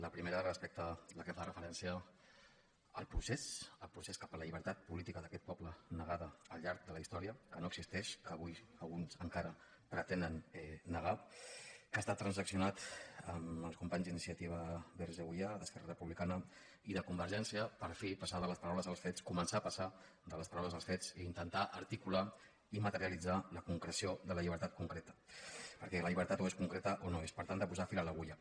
la primera la que fa referència al procés cap a la lli·bertat política d’aquest poble negada al llarg de la his·tòria que no existeix que avui alguns encara pretenen negar que ha estat transaccionada amb els companys d’iniciativa per catalunya verds · euia d’esquerra republicana i de convergència per fi passar de les paraules als fets començar a passar de les paraules als fets i intentar articular i materialitzar la concreció de la llibertat concreta perquè la llibertat o és concreta o no és per tant de posar fil a l’agulla